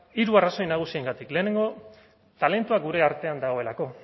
hiru arrazoi nagusiengatik lehenengo talentua gure artean dagoelako